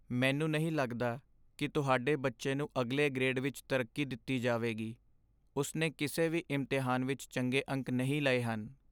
ਮੈਨੂੰ ਨਹੀਂ ਲੱਗਦਾ ਕਿ ਤੁਹਾਡੇ ਬੱਚੇ ਨੂੰ ਅਗਲੇ ਗ੍ਰੇਡ ਵਿੱਚ ਤਰੱਕੀ ਦਿੱਤੀ ਜਾਵੇਗੀ। ਉਸ ਨੇ ਕਿਸੇ ਵੀ ਇਮਤਿਹਾਨ ਵਿੱਚ ਚੰਗੇ ਅੰਕ ਨਹੀਂ ਲਏ ਹਨ।